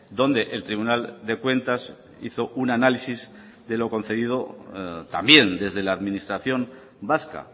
donde el tribunal de cuentas hizo un análisis de lo concedido también desde la administración vasca